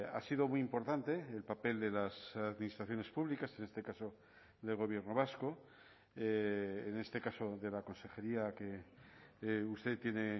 ha sido muy importante el papel de las administraciones públicas en este caso del gobierno vasco en este caso de la consejería que usted tiene